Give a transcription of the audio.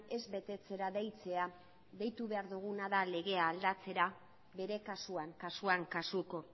ez betetzera deitzea deitu behar duguna da legea aldatzera bere kasuan kasuan kasuko